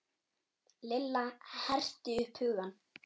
Lilla herti upp hugann.